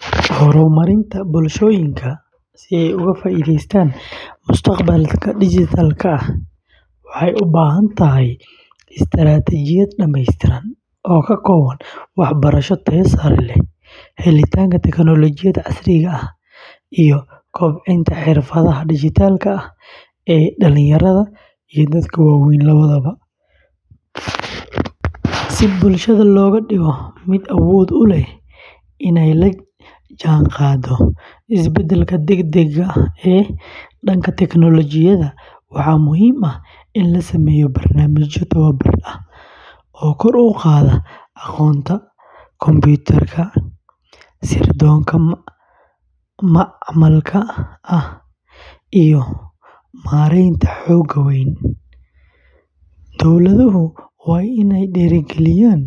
Horumarinta bulshooyinka si ay uga faa’iidaystaan mustaqbal dijitaal ah waxay u baahan tahay istaraatiijiyad dhamaystiran oo ka kooban waxbarasho tayo sare leh, helitaanka tiknoolajiyada casriga ah, iyo kobcinta xirfadaha dijitaalka ah ee dhalinyarada iyo dadka waaweyn labadaba. Si bulshada looga dhigo mid awood u leh inay la jaanqaado isbeddelka degdegga ah ee dhanka tiknoolajiyada, waxaa muhiim ah in la sameeyo barnaamijyo tababar ah oo kor u qaada aqoonta kombuyuutarka, sirdoonka macmalka ah, iyo maaraynta xogaha waaweyn. Dowladuhu waa inay dhiirrigeliyaan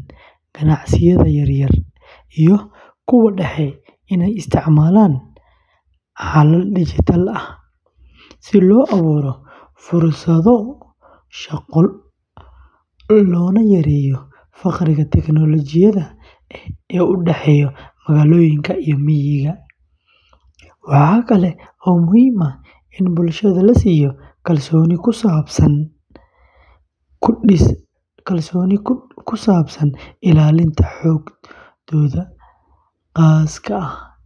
ganacsiyada yaryar iyo kuwa dhexe inay isticmaalaan xalal dijitaal ah, si loo abuuro fursado shaqo loona yareeyo farqiga tiknoolajiyada ee u dhexeeya magaalooyinka iyo miyiga. Waxa kale oo muhiim ah in bulshada la siiyo kalsooni ku dhisan ilaalinta xogtooda khaaska ah.